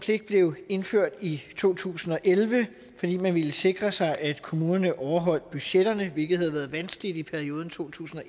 pligt blev indført i to tusind og elleve fordi man ville sikre sig at kommunerne overholdt budgetterne hvilket havde været vanskeligt i perioden to tusind og